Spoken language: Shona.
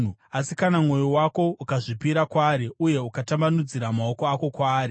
“Asi kana mwoyo wako ukazvipira kwaari, uye ukatambanudzira maoko ako kwaari,